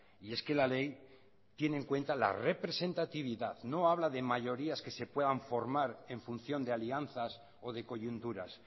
y es que la ley tiene en cuenta la representatividad no habla de mayorías que se puedan formar en función de alianzas o de coyunturas